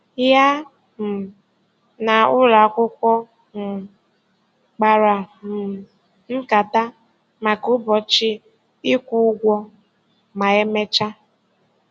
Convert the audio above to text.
Ya um na ụlọ akwụkwọ um kpara um nkata maka ụbọchị ịkwụ ụgwọ ma emechaa.